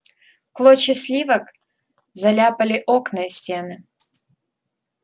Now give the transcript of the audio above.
клочья сливок заляпали окна и стены